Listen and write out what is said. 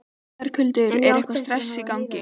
Berghildur: Eitthvað stress í gangi?